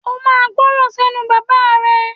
O máa gbọ́ran sẹ́nu bàbáà rẹ!